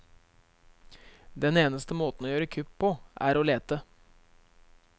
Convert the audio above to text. Den eneste måten å gjøre kupp på, er å lete.